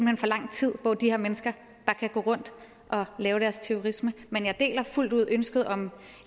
hen for lang tid hvor de her mennesker bare kan gå rundt og lave deres terrorisme men jeg deler fuldt ud ønsket om